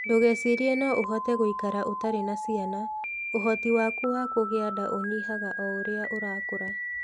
Ndũgecirie no ũhote gũikara ũtarĩ na ciana; ũhoti waku wa kũgĩa nda ũnyihaga o ũrĩa ũrakũra.